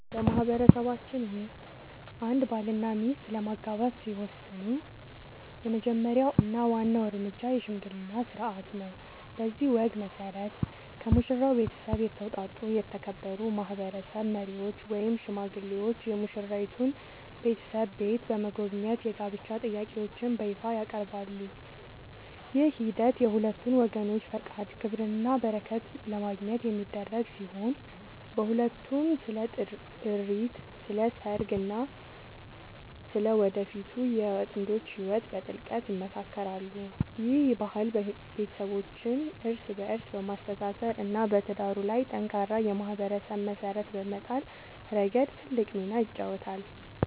በማህበረሰባችን ውስጥ አንድ ባልና ሚስት ለመጋባት ሲወስኑ የመጀመሪያው እና ዋናው እርምጃ **የሽምግልና ሥርዓት** ነው። በዚህ ወግ መሠረት፣ ከሙሽራው ቤተሰብ የተውጣጡ የተከበሩ ማህበረሰብ መሪዎች ወይም ሽማግሌዎች የሙሽራይቱን ቤተሰብ ቤት በመጎብኘት የጋብቻ ጥያቄያቸውን በይፋ ያቀርባሉ። ይህ ሂደት የሁለቱን ወገኖች ፈቃድ፣ ክብርና በረከት ለማግኘት የሚደረግ ሲሆን፣ በዕለቱም ስለ ጥሪት፣ ስለ ሰርግ ቀጠሮ እና ስለ ወደፊቱ የጥንዶቹ ህይወት በጥልቀት ይመካከራሉ። ይህ ባህል ቤተሰቦችን እርስ በእርስ በማስተሳሰር እና በትዳሩ ላይ ጠንካራ የማህበረሰብ መሰረት በመጣል ረገድ ትልቅ ሚና ይጫወታል።